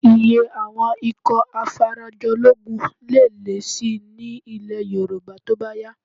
Iye àwọn ikọ̀ afarajológun lè lé síi nílẹ̀ Yorùbá tó bá yá